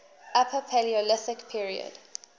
upper paleolithic period